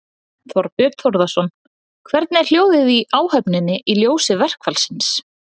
Þorbjörn Þórðarson: Hvernig er hljóðið í áhöfninni í ljósi verkfallsins?